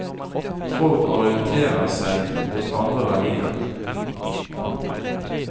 Folk orienterer seg mot andre verdier. punktum